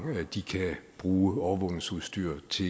de kan bruge overvågningsudstyr til